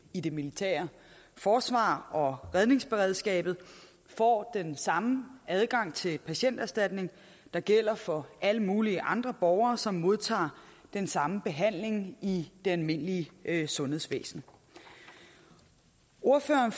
i det militære forsvar og redningsberedskabet får den samme adgang til patienterstatning der gælder for alle mulige andre borgere som modtager den samme behandling i det almindelige sundhedsvæsen ordføreren